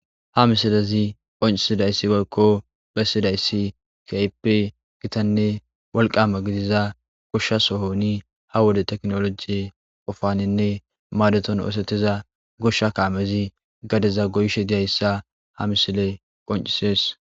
Ha misilezi qoncisidayissi woyikko besidayissi kehippe gittanne woliqama gidida gosha sohoni ha wode tekinolojeyitekinolojeyi qofanine madetidda ossetidda gosha kamezi gadeza goyishe dizayisa ha misileyi qoncissesi